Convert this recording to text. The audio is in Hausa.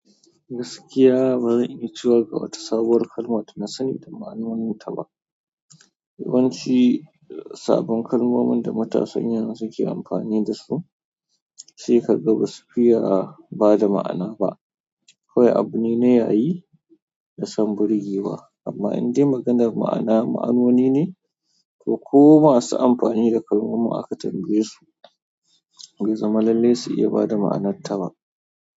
Gaskiya, bazan iya cewa ga wata sabuwar kalma da nasani da ma'anoninta ba. Yawanci sabbin kalmomin da matasan yanzu ke amfani d su sai kaga basu fiye bada ma'ana ba. Kawai abune na yayi dason birgewa amma indai maganar ma'ana, ma'anoni ne. To ko masu amfani da kalmomin aka tambayesu, baizama lallle su iya bada ma'anarta ba.